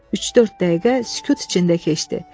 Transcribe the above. Üç-dörd dəqiqə sükut içində keçdi.